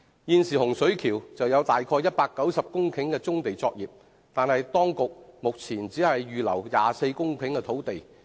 現時洪水橋有大約190公頃棕地作業，但當局目前只預留了24公頃土地。